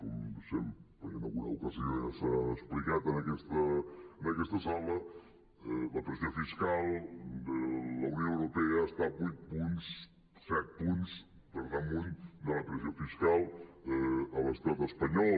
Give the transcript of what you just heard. com en alguna ocasió ja s’ha explicat en aquesta sala la pressió fiscal de la unió europea està vuit punts set punts per damunt de la pressió fiscal a l’es·tat espanyol